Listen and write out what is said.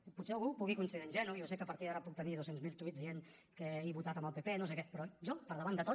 i potser algú em pugui considerar ingenu jo sé que a partir d’ara puc tenir dos cents miler tuits dient que he votat amb el pp no sé què però jo per davant de tot